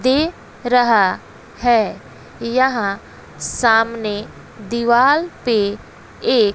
दे रहा है यहां सामने दीवाल पे एक--